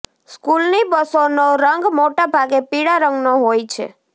સ્કૂલની બસોનો રંગ મોટા ભાગે પીળા રંગનો હોય છે